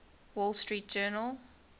wall street journal